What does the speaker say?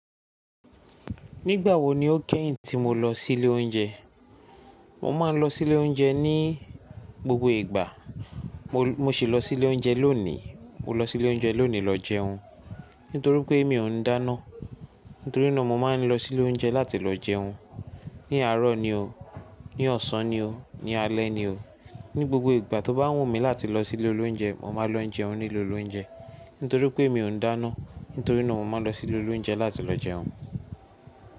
Nígbà wo ni o kẹ́yìn tí mo lọ sí ilé oúnjẹ? Mo máa ń lọ sí ilé oúnjẹ ní gbogbo ìgbà. Mo Mo ṣì lọ sí ilé oúnjẹ lónìí. Mo lọ sí ilé oúnjẹ lónìí lọ jẹun, nítorí pé mi ò ń dáná. Nítorí náà mo máa ń lọ sí ilé oúnjẹ láti lọ jẹun. Ní àárọ̀ ni o. Ní ọ̀sán ni o. Ní alẹ́ ni o. Ni gbogbo ìgbà tó bá wù mí láti lọ sí ilé olóuǹjẹ, mo máa lọ n jẹun ní ilé olóuǹjẹ. Nítorí pé mi ò ń dáná. Nítorí náà mo máa lọ sí ilé olóuǹjẹ láti lọ jẹun.